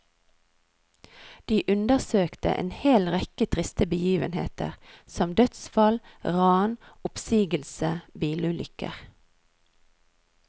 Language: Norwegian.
De undersøkte en hel rekke triste begivenheter, som dødsfall, ran, oppsigelse, bilulykker.